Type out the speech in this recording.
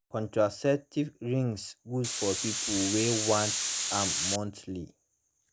contraceptives rings good for people wey want am monthly